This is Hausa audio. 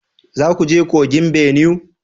Za ku je kogin Benue?